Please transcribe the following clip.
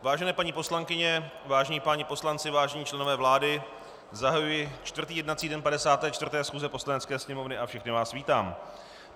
Vážené paní poslankyně, vážení páni poslanci, vážení členové vlády, zahajuji čtvrtý jednací den 54. schůze Poslanecké sněmovny a všechny vás vítám.